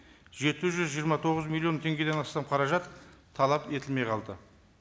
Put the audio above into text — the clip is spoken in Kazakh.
жеті жүз жиырма тоғыз миллион теңгеден астам қаражат талап етілмей қалды